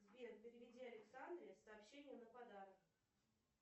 сбер переведи александре с сообщением на подарок